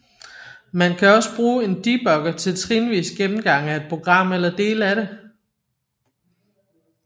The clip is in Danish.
Man kan også bruge en debugger til trinvis gennemgang af et program eller dele af det